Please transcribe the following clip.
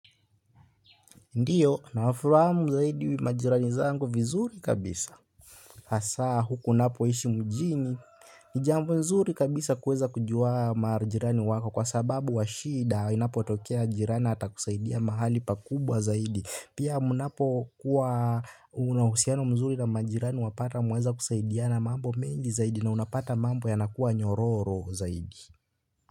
Ndiyo nafahamu zaidi majirani zangu vizuri kabisa hasa huku ninapoishi mjini. Ni jambo nzuri kabisa kuweza kujua majirani wako kwa sababu wa shida inapo tokea jirani ata kusaidia mahali pakubwa zaidi. Pia mnapo kuwa una uhusiano mzuri na majirani wapata mwaweza kusaidiana mambo mengi zaidi. Na unapata mambo yanakuwa nyororo zaidi.